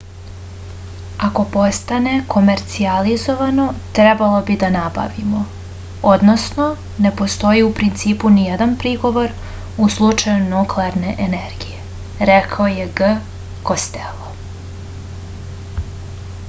ako postane komercijalizovano trebalo bi da nabavimo odnosno ne postoji u principu nijedan prigovor u slučaju nuklearne energije rekao je g kostelo